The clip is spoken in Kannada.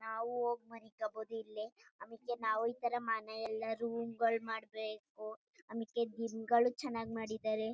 ನಾವು ಹೋಗ್ ಮನಿಕಬೋದು ಇಲ್ಲೇ ಅಮೇಕೆ ನಾವು ಇತರ ಮನೆಯಲ್ಲ ರೂಮ್ ಗಳು ಮಾಡಬೇಕು ಅಮೇಕೆ ದಿಂಬುಗಳು ಚನ್ನಾಗ್ ಮಾಡಿದರೆ.